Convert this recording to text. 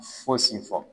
Fosi fɔ